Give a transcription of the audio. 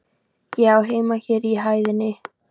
Ég á heima hér á hæðinni.